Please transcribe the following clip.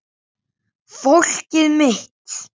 Fólkið mitt.